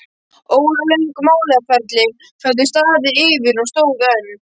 Óralöng málaferli höfðu staðið yfir og stóðu enn.